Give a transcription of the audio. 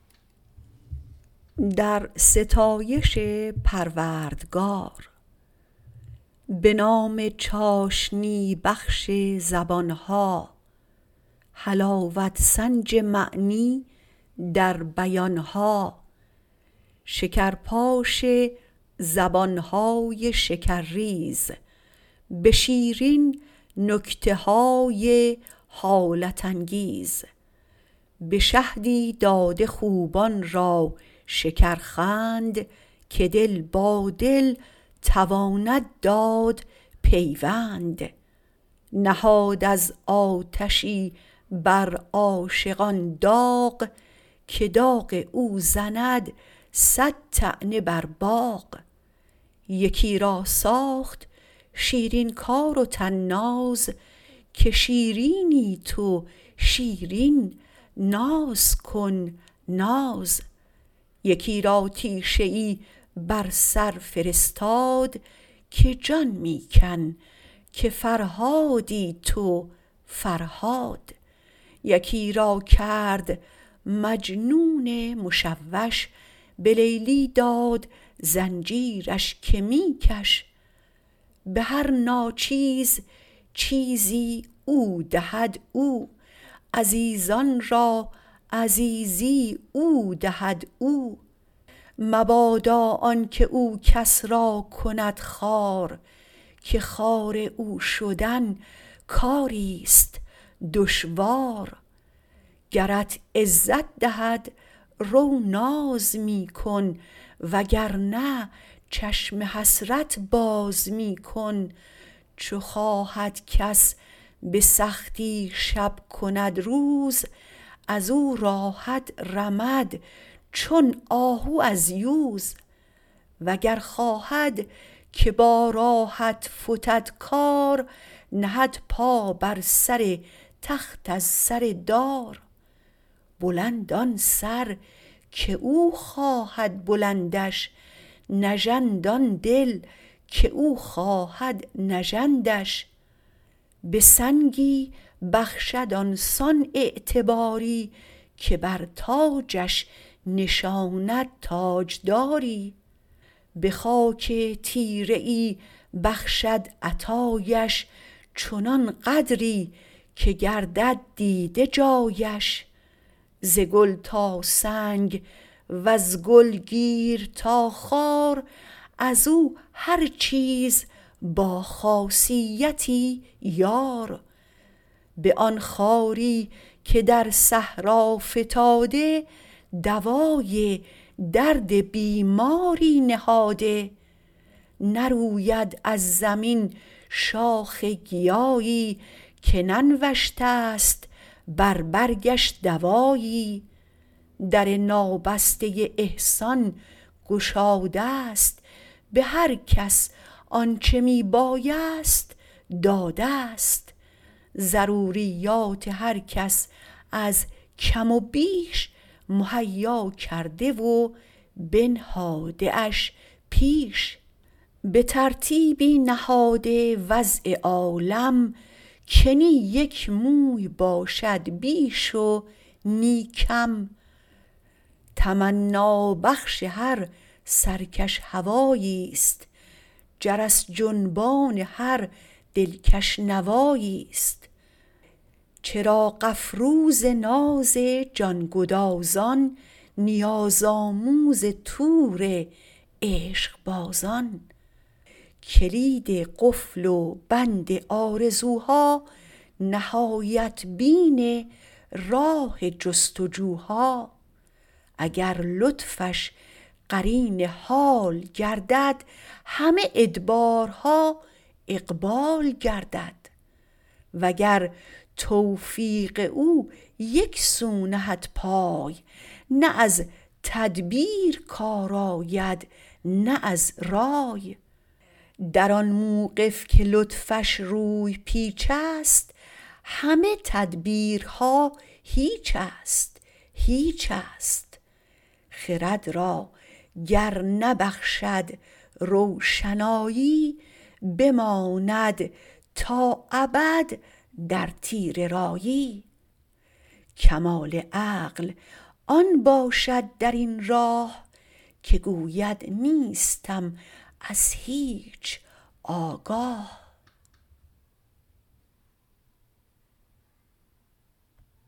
به نام چاشنی بخش زبانها حلاوت سنج معنی در بیانها شکرپاش زبانهای شکرریز به شیرین نکته های حالت انگیز به شهدی داده خوبان را شکرخند که دل با دل تواند داد پیوند نهاد از آتشی بر عاشقان داغ که داغ او زند صد طعنه بر باغ یکی را ساخت شیرین کار و طناز که شیرینی تو شیرین ناز کن ناز یکی را تیشه ای بر سر فرستاد که جان می کن که فرهادی تو فرهاد یکی را کرد مجنون مشوش به لیلی داد زنجیرش که می کش به هر ناچیز چیزی او دهد او عزیزان را عزیزی او دهد او مبادا آنکه او کس را کند خوار که خوار او شدن کاریست دشوار گرت عزت دهد رو ناز می کن و گرنه چشم حسرت باز می کن چو خواهد کس به سختی شب کند روز ازو راحت رمد چون آهو از یوز وگر خواهد که با راحت فتد کار نهد پا بر سر تخت از سر دار بلند آن سر که او خواهد بلندش نژند آن دل که او خواهد نژندش به سنگی بخشد آنسان اعتباری که بر تاجش نشاند تاجداری به خاک تیره ای بخشد عطایش چنان قدری که گردد دیده جایش ز گل تا سنگ وز گل گیر تا خار ازو هر چیز با خاصیتی یار به آن خاری که در صحرا فتاده دوای درد بیماری نهاده نروید از زمین شاخ گیایی که ننوشته ست بر برگش دوایی در نابسته احسان گشاده ست به هر کس آنچه می بایست داده ست ضروریات هر کس از کم و بیش مهیا کرده و بنهاده اش پیش به ترتیبی نهاده وضع عالم که نی یک موی باشد بیش و نی کم تمنابخش هر سرکش هواییست جرس جنبان هر دلکش نواییست چراغ افروز ناز جان گدازان نیازآموز طور عشق بازان کلید قفل و بند آرزوها نهایت بین راه جستجوها اگر لطفش قرین حال گردد همه ادبارها اقبال گردد وگر توفیق او یک سو نهد پای نه از تدبیر کار آید نه از رای در آن موقف که لطفش روی پیچست همه تدبیرها هیچست هیچست خرد را گر نبخشد روشنایی بماند تا ابد در تیره رایی کمال عقل آن باشد در این راه که گوید نیستم از هیچ آگاه